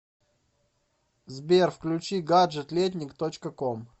сбер включи гаджет летник точка ком